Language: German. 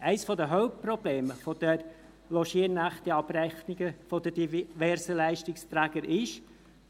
Eines der Hauptprobleme der Logiernächte-Abrechnungen der diversen Leistungsträger ist,